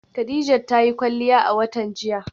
Khadijat ta yi kwalliya a watan jiya.